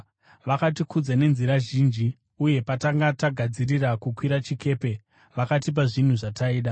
Vakatikudza nenzira zhinji uye patakanga tagadzirira kukwira chikepe, vakatipa zvinhu zvataida.